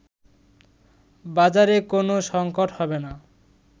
বাজারে কোনো সংকট হবে না